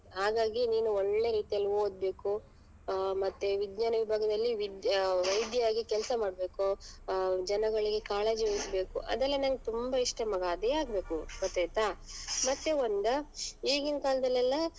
ಹಾಗಾಗಿ ನೀನ್ ಒಳ್ಳೆ ರೀತಿಯಲ್ಲಿ ಓದ್ಬೇಕು ಆ ಮತ್ತೆ ವಿಜ್ಞಾನ ವಿಭಾಗದಲ್ಲಿ ವಿದ್~ ವೈದ್ಯ ಆಗಿ ಕೆಲಸ ಮಾಡ್ಬೇಕು ಆಹ್ ಜನಗಳಿಗೆ ಕಾಳಜಿ ವಹಿಸ್ಬೇಕು ಅದೆಲ್ಲ ನಂಗ್ ತುಂಬಾ ಇಷ್ಟ ಮಗ ಅದೇ ಆಗ್ಬೇಕು ಗೊತ್ತಾಯ್ತ ಮತ್ತೆ ಒಂದ್ ಈಗಿನ್ ಕಾಲದಲ್ಲಿ ಎಲ್ಲ ಆಹ್.